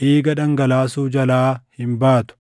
dhiiga dhangalaasuu jalaa hin baatu.